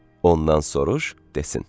Ondan soruş, desin.